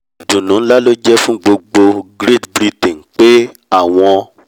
ìdùnnú nlá ló jẹ́ fún gbogbo great britain pé àwọn